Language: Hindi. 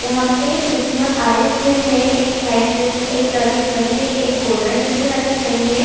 यहाँ पे क्रिसमस आए हुए है एक व्हाइट ड्रेस में एक लड़के खड़ी है एक गोल्डन ड्रेस में लड़के खड़ी है।